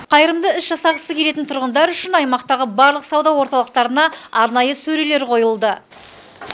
қайырымды іс жасағысы келетін тұрғындар үшін аймақтағы барлық сауда орталықтарына арнайы сөрелер қойылды